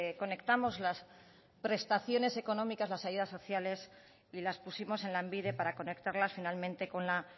conectamos las prestaciones económicas las ayudas sociales y las pusimos en lanbide para conectarlas finalmente con la